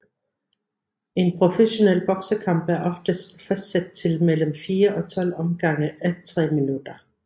En professionel boksekamp er oftest fastsat til mellem fire og 12 omgange à tre minutter